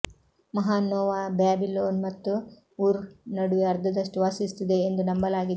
ಮಹಾನ್ ನೋವಾ ಬ್ಯಾಬಿಲೋನ್ ಮತ್ತು ಉರ್ ನಡುವೆ ಅರ್ಧದಷ್ಟು ವಾಸಿಸುತ್ತಿದೆ ಎಂದು ನಂಬಲಾಗಿದೆ